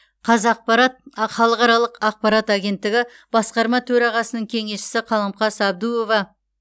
қазақпарат а халықаралық ақпарат агенттігі басқарма төрағасының кеңесшісі қаламқас әбдуова